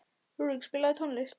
Rúrik, spilaðu tónlist.